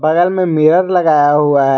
में मिरर लगाया हुआ है।